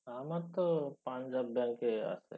আমার তো পাঞ্জাব ব্যাঙ্কে আছে।